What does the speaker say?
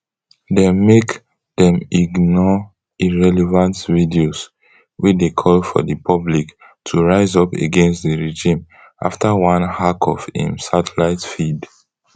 dem make dem ignore irrelevant videos wey dey call for di public to rise up against di regime afta one hack of im satellite feed